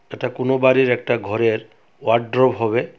এটা কোনো বাড়ির একটা ঘরের ওয়ার্ডরোব হবে।